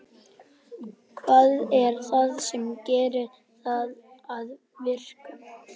Hvað er það sem gerir það að verkum?